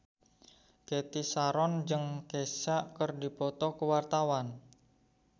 Cathy Sharon jeung Kesha keur dipoto ku wartawan